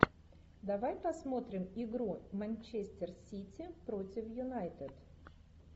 давай посмотрим игру манчестер сити против юнайтед